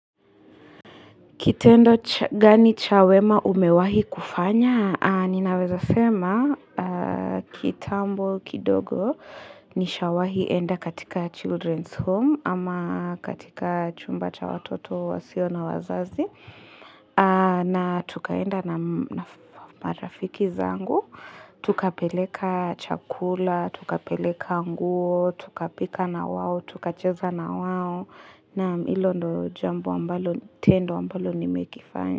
Kitendo gani cha wema umewahi kufanya? Ninaeza sema kitambo kidogo, nishawahi enda katika Children's home ama katika chumba cha watoto wasio na wazazi. Na tukaenda na marafiki zangu. Tukapeleka chakula, tukapeleka nguo, tukapika na wao, tuka cheza na wao. Naam ndilo tendo ambalo nimelifanya.